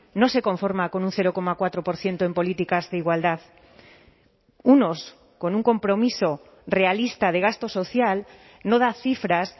no se conforma con un cero coma cuatro por ciento en políticas de igualdad unos con un compromiso realista de gasto social no da cifras